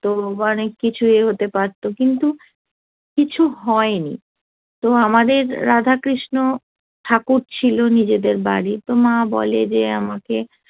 তো অনেক কিছুই হতে পারতো ইয়ে কিন্তু কিছু হয়নি তো আমাদের রাধা কৃষ্ণ ঠাকুর ছিল নিজেদের বাড়ি তো মা বলে যে আমাকে